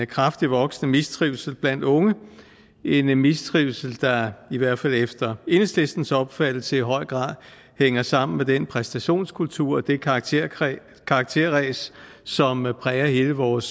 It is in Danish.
kraftigt voksende mistrivsel blandt unge en mistrivsel der i hvert fald efter enhedslistens opfattelse i høj grad hænger sammen med den præstationskultur og det karakterræs karakterræs som præger hele vores